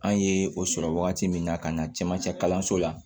An ye o sɔrɔ wagati min na ka na cɛmancɛ kalanso la